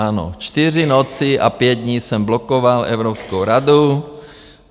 Ano, čtyři noci a pět dní jsem blokoval Evropskou radu.